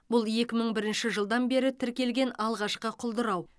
бұл екі мың бірінші жылдан бері тіркелген алғашқы құлдырау